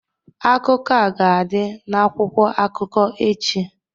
Akụkọ a ga-adị n'akwụkwọ akụkọ echi